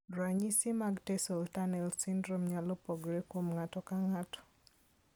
Ranyisi mag tarsal tunnel syndrome nyalo pogore kuom ng'ato ka ng'ato.